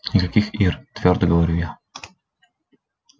никаких ир твёрдо говорю я